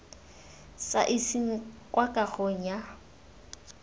sa iseng kwa kagong ya